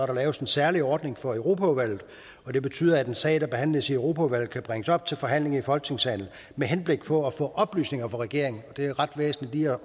der laves en særlig ordning for europaudvalget og det betyder at en sag der behandles i europaudvalget kan bringes op til forhandling i folketingssalen med henblik på at få oplysninger fra regeringen og det er ret væsentligt lige